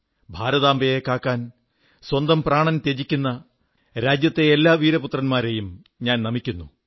ഭാരതാംബയെ കാക്കാൻ സ്വന്തം പ്രാണൻ ത്യജിക്കുന്ന രാജ്യത്തെ എല്ലാ വീരപുത്രന്മാരെയും ഞാൻ നമിക്കുന്നു